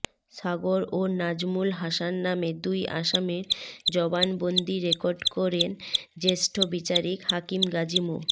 সাগর ও নাজমুল হাসান নামে দুই আসামির জবানবন্দি রেকর্ড করেন জ্যেষ্ঠ বিচারিক হাকিম গাজী মো